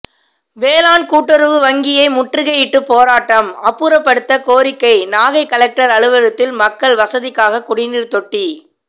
வேளாண் கூட்டுறவு வங்கியை முற்றுகையிட்டு போராட்டம் அப்புறப்படுத்த கோரிக்கை நாகை கலெக்டர் அலுவலகத்தில் மக்கள் வசதிக்காக குடிநீர் தொட்டி